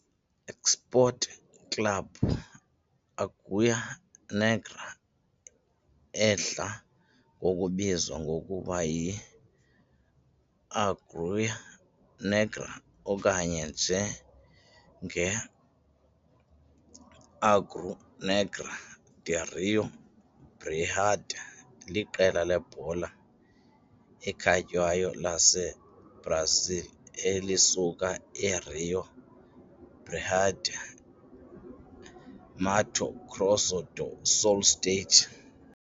Esporte Clube Águia Negra, edla ngokubizwa ngokuba yi Águia Negra okanye njenge Águia Negra de Rio Brilhante liqela lebhola ekhatywayo laseBrazil elisuka eRio Brilhante, Mato Grosso do Sul state.